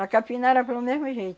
A capinã era pelo mesmo jeito.